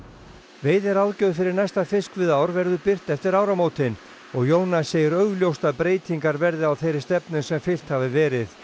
veiðiráðgjöf fyrir næsta fiskveiðiár verður birt eftir áramótin og Jónas segir augljóst að breytingar verði á þeirri stefnu sem fylgt hafi verið